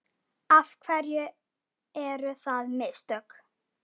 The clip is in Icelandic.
Af hverju eru það mistök?